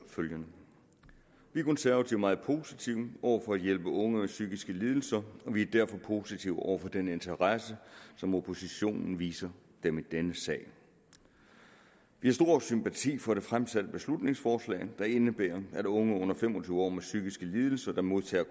følgende vi konservative er meget positive over for at hjælpe unge med psykiske lidelser og vi er derfor positive over for den interesse som oppositionen viser dem i denne sag vi har stor sympati for det fremsatte beslutningsforslag der indebærer at unge under fem og tyve år med psykiske lidelser der modtager